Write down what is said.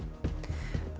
þessum